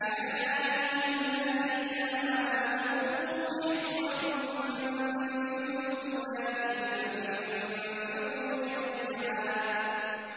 يَا أَيُّهَا الَّذِينَ آمَنُوا خُذُوا حِذْرَكُمْ فَانفِرُوا ثُبَاتٍ أَوِ انفِرُوا جَمِيعًا